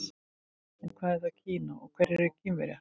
En hvað er þá Kína og hverjir eru Kínverjar?